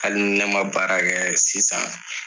Hali ni ne ma baara kɛ sisan.